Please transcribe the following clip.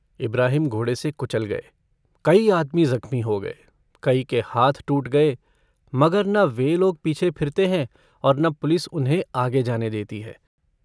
इब्राहिम घोड़े से कुचल गये कई आदमी जख़्मी हो गये कई के हाथ टूट गये मगर न वे लोग पीछे फिरते हैं और न पुलिस उन्हें आगे जाने देती है।